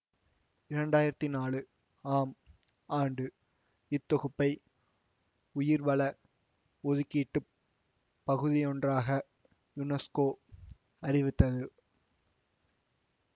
இரண்டாயிரத்தி நாலு ஆம் ஆண்டு இத்தொகுப்பை உயிர்வள ஒதுக்கீட்டுப் பகுதியொன்றாக யுனெசுகோ அறிவித்தது